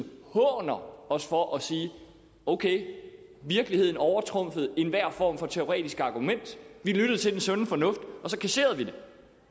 håner os for at sige okay virkeligheden overtrumfede enhver form for teoretisk argument vi lyttede til den sunde fornuft og så kasserede vi det